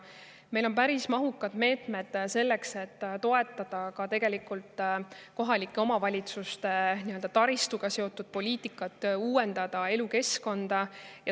Meil on päris mahukad meetmed selleks, et toetada ka kohalike omavalitsuste taristuga seotud poliitikat, et uuendada elukeskkonda.